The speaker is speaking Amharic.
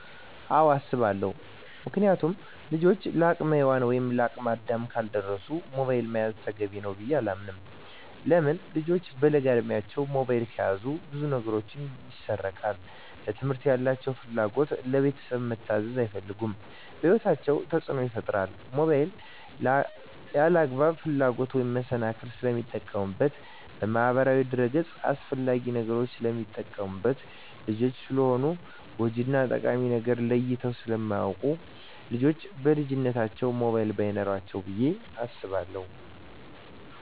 አወ አሰባለው ምክንያቱም ልጆች ለአቅመ ሄዋን ወይም ለአቅመ አዳም ካልደረሱ ሞባይል መያዝ ተገቢ ነው ብዬ አላስብም። ለምን ልጆች በለጋ እድማቸው ሞባይል ከያዙ ብዙ ነገራቸው ይሰረቃል ለትምህርት ያላቸው ፍላጎት, ለቤተሰብ መታዘዝ አይፈልጉም በህይወታቸው ተፅዕኖ ይፈጥራል ሞባይልን ለአላግባብ ፍላጎት መሰናክል ስለሚጠቀሙበት በማህበራዊ ድረ-ገፅ አላስፈላጊ ነገሮች ስለሚጠቀሙበት። ልጆች ስለሆኑ ጎጅ እና ጠቃሚ ነገርን ለይተው ስለማያወቁ ልጆች በልጅነታቸው ሞባይል በይኖራቸው ብዬ አስባለሁ።